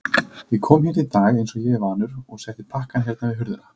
Ég kom hérna í dag einsog ég er vanur og setti pakkann hérna við hurðina.